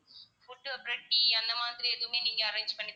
food அப்பறம் tea அந்தமாதிரி எதுமே நீங்க arrange பண்ணி